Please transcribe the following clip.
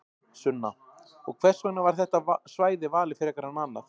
Sunna: Og hvers vegna var þetta svæði valið frekar en annað?